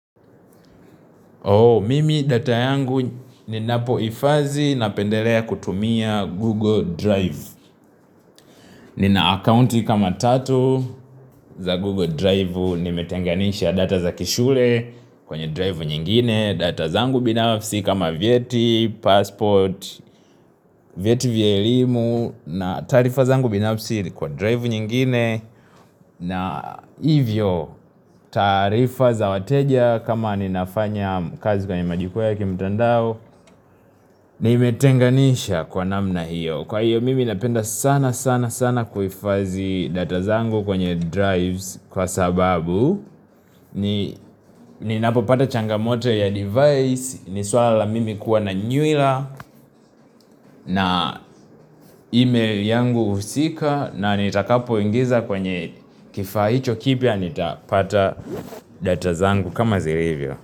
Mimi data yangu ninapohifadhi napendelea kutumia Google Drive Nina akaunti kama tatu za Google Drive. Nimetenganisha data za kishule kwenye drive nyingine, data zangu binafsi kama vyeti, passport, vyeti vya elimu na taarifa zangu binafsi kwa drive nyingine na hivyo taarifa za wateja kama ninafanya kazi kwenye majukwaa ya kimtandao Nimetenganisha kwa namna hiyo Kwa hiyo mimi napenda sana sana sana kuhifadhi data zangu kwenye drives kwa sababu Ninapopata changamoto ya device ni suala la mimi kuwa na nywila na email yangu husika na nitakapoingiza kwenye kifaa hicho kipya nitapata data zangu kama zilivyo.